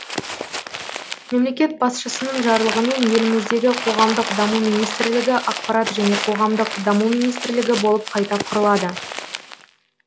мемлекет басшысының жарлығымен еліміздегі қоғамдық даму министрлігі ақпарат және қоғамдық даму министрлігі болып қайта құрылады